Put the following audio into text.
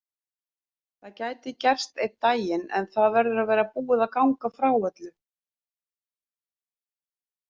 Það gæti gerst einn daginn en það verður að vera búið að ganga frá öllu.